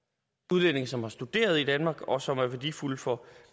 udlændinge som har studeret i danmark og som er værdifulde for